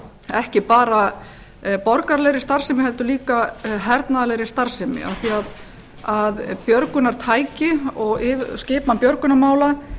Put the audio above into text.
ekki bara borgaralegri starfsemi heldur líka hernaðarlegri starfsemi af því að björgunartæki og skipan björgunarmála